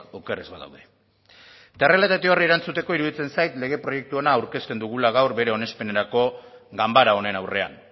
oker ez badaude eta errealitate horri erantzuteko iruditzen zait lege proiektu hona aurkezten dugula gaur bere onespenerako ganbara honen aurrean